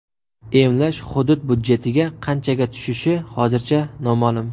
Emlash hudud budjetiga qanchaga tushishi hozircha noma’lum.